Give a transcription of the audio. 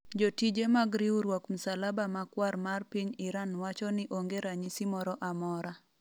jotije mag riwruok msalaba makwar mar piny Iran wacho ni onge ranyisi moro amora